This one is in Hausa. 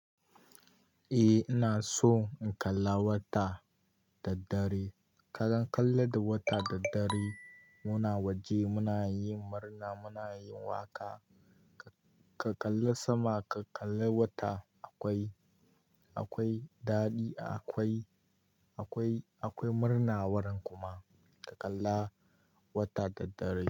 Eh ina so in kalla wata da dare. Kalan kalla da wata da dare muna waje muna yi murna muna yin waƙa. Ka kalla sama ka kalla wata akwai, akwai daɗi akwai, akwai, akwai murna waran kuma. Ka kalla wata da dare.